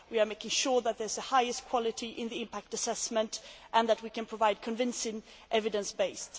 We are making sure that there is the highest quality in the impact assessment and that we can provide a convincing evidence base